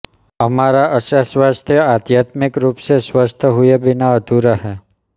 हमारा अच्छा स्वास्थ्य आध्यात्मिक रूप से स्वस्थ हुए बिना अधूरा है